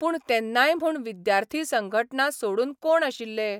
पूण तेन्नाय म्हूण विद्यार्थी संघटना सोडून कोण आशिल्ले?